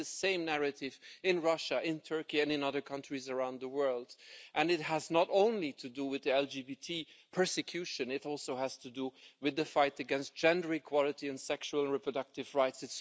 We see the same narrative in Russia, in Turkey and in other countries around the world. It has not only to do with LGBT persecution, it also has to do with the fight against gender equality and sexual and reproductive rights.